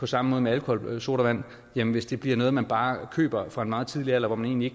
samme med alkoholsodavand hvis det bliver noget man bare køber fra en meget tidlig alder hvor man egentlig